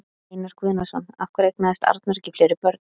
Einar Guðnason: Af hverju eignaðist Arnór ekki fleiri börn?